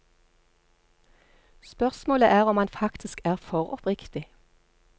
Spørsmålet er om han faktisk er for oppriktig.